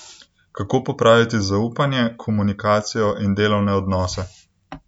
Kako popraviti zaupanje, komunikacijo in delovne odnose?